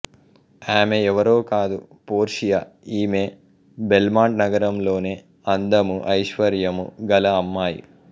ఆమె ఎవ్వరో కాదు పోర్షియా ఈమె బెల్మాంట్ నగరంలోనే అందము ఐశ్వర్యం గల అమ్మాయి